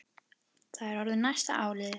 Það var orðið næsta áliðið.